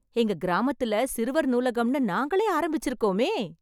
எங்க கிராமத்துல சிறுவர் நூலகம்னு நாங்களே ஆரம்பிச்சிருக்கோமே...